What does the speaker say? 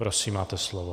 Prosím máte slovo.